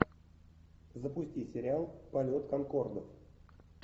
запусти сериал полет конкордов